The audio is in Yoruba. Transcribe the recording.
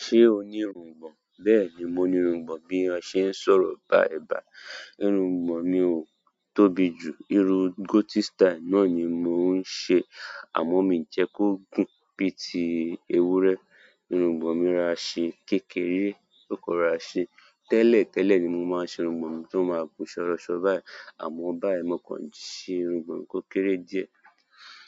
Ṣé o ní irungbọ̀n? Bẹ́ẹ̀ni mo ní irungbọ̀n bí mo ṣe ń sọ̀rọ̀ báyìí báyìí. Irungbọ̀n mi ò tóbi jù, irun goatee style náà ni mò ń ṣe, àmọ́ miì jẹ́ kó gùn bíi ti ewúrẹ́. Irungbọ̀n mi ra ṣe kékeré, ló kàn rọra ṣe. Tẹ́lẹ̀ tẹ́lẹ̀ ni mo máa ṣe irungbọ̀n mi tó máa gùn ṣọọrọṣọ báyìí, àmọ́ báyìí mo kàn ṣe irungbọ̀n mi kó kéré díẹ̀.